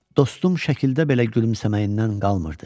Dostum şəkildə belə gülümsəməyindən qalmırdı.